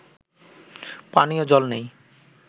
পানীয় জল নেই